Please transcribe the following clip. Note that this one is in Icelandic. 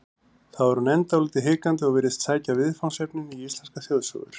Þar er hún enn dálítið hikandi og virðist sækja viðfangsefnin í íslenskar þjóðsögur.